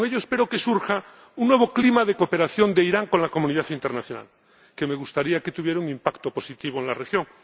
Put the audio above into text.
Con ello espero que surja un nuevo clima de cooperación de Irán con la comunidad internacional que me gustaría que tuviera un impacto positivo en la región.